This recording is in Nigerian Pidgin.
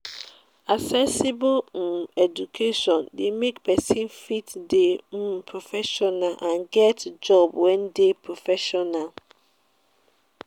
accessible um education de make persin fit de um proffessional and get job wey de professional